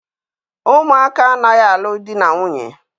Ụmụaka anaghị alụ di na nwunye